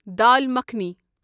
dal makhani